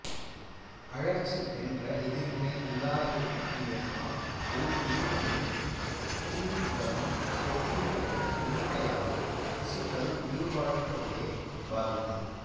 அழற்சி என்ற எதிர்வினை இல்லாதிருக்குமேயானால் ஓர் உயிரியின் புண்களும் தொற்றுநோய்களும் குணமடையாது திசுக்கள் உயிர்வாழ்வதையே பாதிக்கும்